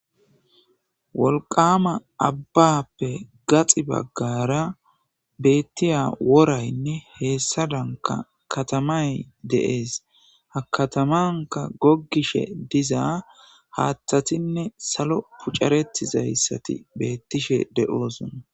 wolqama abbappe gaxi baggara beettiya woraynne heessadanka katamay de'ees ha katamanka goggishe diza haaththatinne salo pucaretizayssati beettishe de'osona